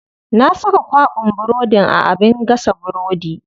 Na saka kwaɓin burodin a abin gasa burodi.